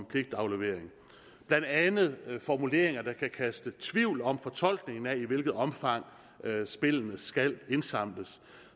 pligtaflevering blandt andet formuleringer der kan kan så tvivl om fortolkningen af i hvilket omfang spillene skal indsamles